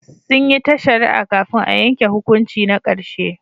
Sun yi ta shari'a kafin a yanke hukunci na karshe.